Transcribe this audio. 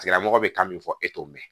Tigilamɔgɔ bɛ kan min fɔ e t'o mɛn